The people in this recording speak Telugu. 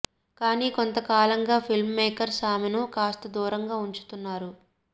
కానీ కొంత కాలంగా ఫిల్మ్ మేకర్స్ ఆమెను కాస్త దూరంగా ఉంచుతున్నారు